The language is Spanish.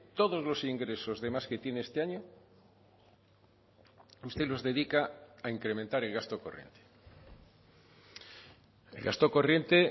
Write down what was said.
todos los ingresos de más que tiene este año usted los dedica a incrementar el gasto corriente el gasto corriente